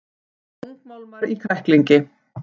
Þungmálmar í kræklingi